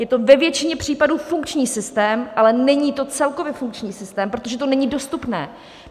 Je to ve většině případů funkční systém, ale není to celkově funkční systém, protože to není dostupné.